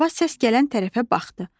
Baba səs gələn tərəfə baxdı.